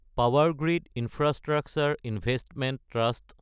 Power Grid infrastructure investment trust